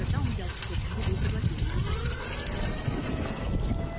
тогда он взял кусок в зубы и проглотил его